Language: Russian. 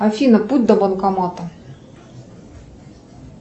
афина путь до банкомата